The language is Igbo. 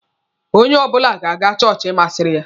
Onye ọbụla ga-aga chọọchị masịrị ya.